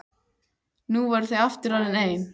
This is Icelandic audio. Nú voru þau aftur orðin ein.